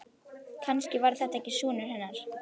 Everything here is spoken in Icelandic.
Kannski var þetta ekki sonur hennar.